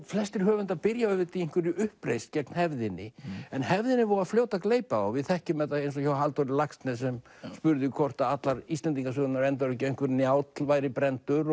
flestir höfundar byrja auðvitað í einhverri uppreisn gegn hefðinni en hefðin er voða fljót að gleypa þá við þekkjum þetta eins og hjá Halldóri Laxness sem spurði hvort allar Íslendingasögurnar enduðu ekki að einhver Njáll væri brenndur